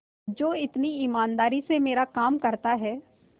जो इतनी ईमानदारी से मेरा काम करता है